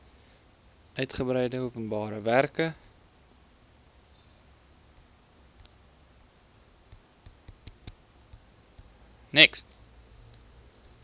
uitgebreide openbare werke